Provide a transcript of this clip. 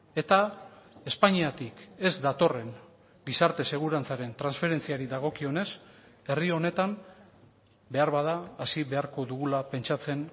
eta espainiatik ez datorren gizarte segurantzaren transferentziari dagokionez herri honetan beharbada hasi beharko dugula pentsatzen